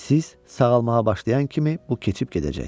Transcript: Siz sağalmağa başlayan kimi bu keçib gedəcək.